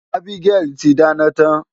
Abigail ti dáná tán.